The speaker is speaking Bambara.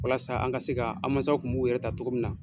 Walasa an ka se ka an masaw kun b'u yɛrɛ ta cogo min na.